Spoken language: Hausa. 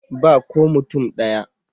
Ba ko mutum ɗaya.